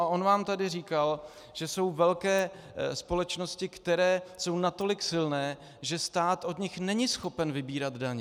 A on vám tady říkal, že jsou velké společnosti, které jsou natolik silné, že stát od nich není schopen vybírat daně.